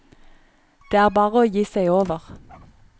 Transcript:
Det er bare å gi seg over.